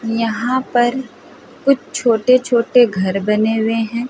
यहाँ पर कुछ छोटे छोटे घर बने हुए हैं।